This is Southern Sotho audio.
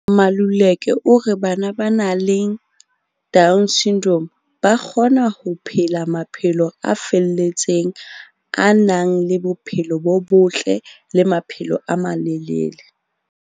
Maluleka o re bana ba nang le DS ba kgona ho phela maphelo a felletseng, a nang le bophelo bo botle le maphelo a malelele.